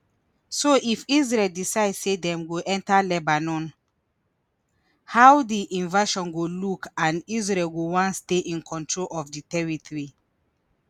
so if israel decide say dem go enta lebanon how di invasion go look and israel go wan stay in control di territory